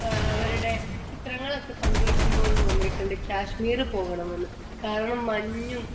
speaker 2 അവരുടെ ചിത്രങ്ങൾ ഒക്കെ പങ്കുവയ്ക്കുമ്പോൾ തോന്നിയിട്ടുണ്ട് കാശ്മീർ പോകണം എന്ന് കാരണം മഞ്ഞും